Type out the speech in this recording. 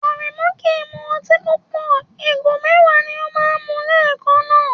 Aremu kì í mu ọtí púpọ̀, ìgò mẹ́wàá ni ó máa ń mu lẹ́ẹ̀kan náà.